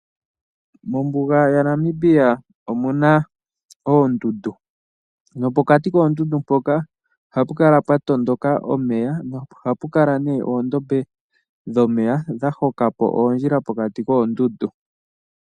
Mombuga yaNamibia omu na oondundu. Nopokati koondundu mpoka ohapu kala pwa tondoka omeya nohapu kala nee oondombe dhomeya dha hokapo oondjila pokati koondundu.